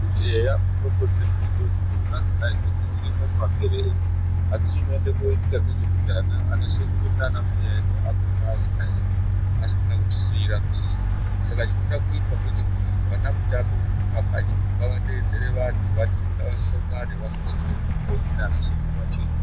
Kuti eya mutombo dzedu idzodzo idzona dzona idzodzo dzirimo mumakwerere umo, asi chinoenda kooitika ngechekuti ana sekuru edu naanambuya edu aakufa asikazi, asina kutisiira ruzivo. Saka chinoda kuitwa ngechekuti ana mutape mumakanyimwo ngavadeedzere vantu, vati ngavasongane vafundiswe ngezvemutombo naana sekuru vachiyo.